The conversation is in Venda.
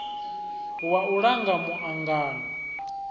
wa u langa mu angano